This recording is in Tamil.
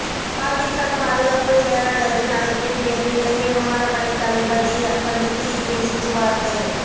பாகிஸ்தான் பாதுகாப்பு செயலாளரின் அழைப்பின் பேரில் இலங்கை விமானப்படை தாளபைதி சந்தித்து பேசிச்சு வார்த்தை